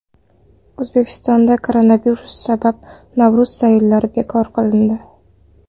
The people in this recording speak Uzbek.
O‘zbekistonda koronavirus sabab Navro‘z sayillari bekor qilindi.